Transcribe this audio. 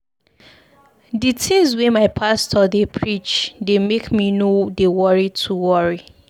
Di tins wey my pastor dey preach dey make me no dey too worry.